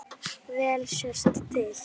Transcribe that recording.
Vel sést til